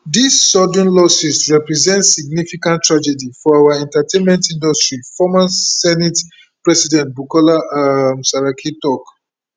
dis sudden losses represent significant tragedy for our entertainment industry former senate president bukola um saraki tok